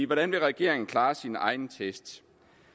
hvordan vil regeringen klare sine egne test